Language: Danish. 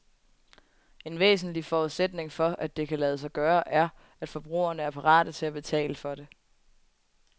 En væsentlig forudsætning for, at det kan lade sig gøre, er, at forbrugerne er parate til at betale for det.